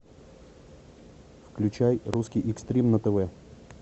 включай русский экстрим на тв